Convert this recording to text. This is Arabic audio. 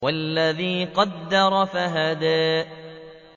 وَالَّذِي قَدَّرَ فَهَدَىٰ